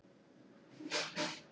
Friðriki var brugðið.